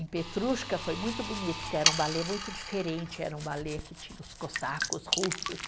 Em Petrushka foi muito bonito, porque era um balé muito diferente, era um balé que tinha os cossacos, russos.